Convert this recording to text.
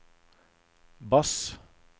bass